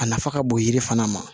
A nafa ka bon yiri fana ma